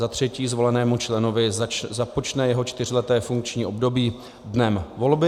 Za třetí, zvolenému členovi započne jeho čtyřleté funkční období dnem volby.